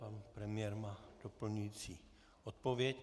Pan premiér má doplňující odpověď.